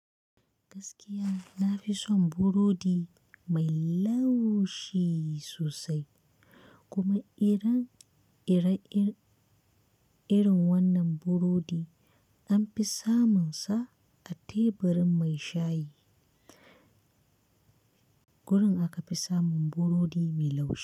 Gaskiya na fi son burodi mai laushi sosai kuma irin wannan burodi anfi samun sa a teburin mai shayi. Gurin akafi samun burodi mai laushi.